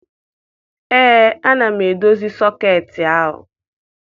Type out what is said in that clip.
Ee, ana m edozi sọketị ahụ.